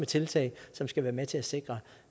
tiltag som skal være med til at sikre